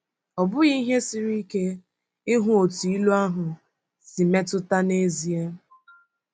Ọ bụghị ihe siri ike ịhụ otú ilu ahụ si metụta n’ezie.